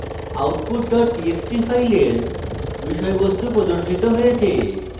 output dot txt file বিষয়বস্তু প্রদর্শিত হয়েছে